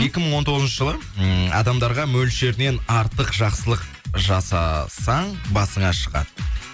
екі мың он тоғызыншы жылы ммм адамдарға мөлшерінен артық жақсылық жасасаң басыңа шығады